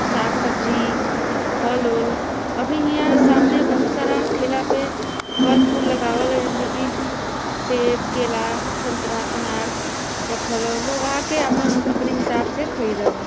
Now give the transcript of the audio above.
साग सब्जी फल ओल अभी इहाँ सामने बहुत सारा ठेला पे फल फूल लगावल ह जेमे की सेब केला संतरा अनार रखल ह। लोग आके आपन अपने हिसाब से ख़रीदेलन।